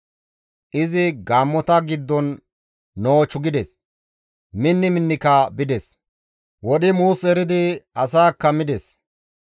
Izi gaammota giddon noochu gides; minni minnika bides; wodhi muus eridi asaakka mides.